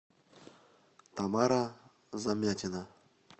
тамара замятина